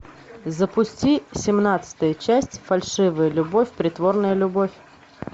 запусти семнадцатая часть фальшивая любовь притворная любовь